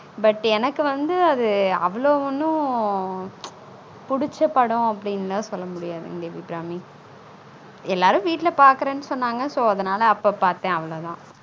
But எனக்கு வந்து அது அவ்ளொ ஒன்னும் பிச் புடிச்ச படம் அப்டினு லான் சொல்ல முடியாது தேவி அபிராமி எல்லாரும் வீட்ல பாக்குரனு சொனனாங்க so அதுனால அப்பொ பாத்தன் அவ்ளொ தான்